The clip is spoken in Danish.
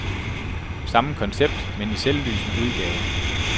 Samme koncept, men i selvlysende udgave.